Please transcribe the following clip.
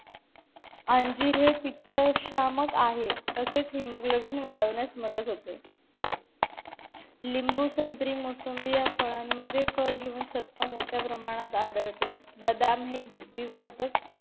अंजीर हे पित्तशामक आहे तसेच haemoglobin वाढवण्यास मदत होते लिंबू संत्री मोसंबी या फळाण मध्ये क जीवनसत्व मोठ्या प्रमाणावर आढळते बदाम हे बुद्धीवर्धक